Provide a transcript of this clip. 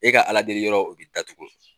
E ka Ala deli yɔrɔ o bɛ datugu.